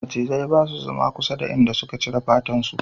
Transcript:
Macizai ba su zama kusa da inda suka cire fatan su